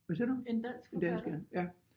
Hvad siger du? En dansk ja ja